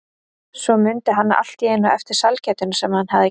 Svo mundi hann allt í einu eftir sælgætinu sem hann hafði keypt.